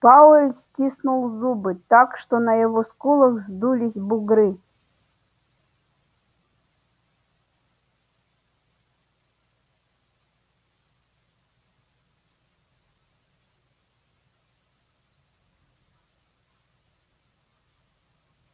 пауэлл стиснул зубы так что на его скулах вздулись бугры